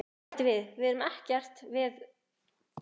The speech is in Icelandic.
Og bætti við: Við gerum ekkert veður út af stúlkunni.